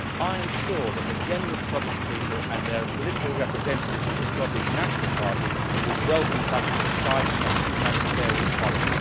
I am sure that the generous Scottish people and their political representatives in the Scottish National Party would welcome such an exciting and humanitarian policy.